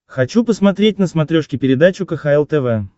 хочу посмотреть на смотрешке передачу кхл тв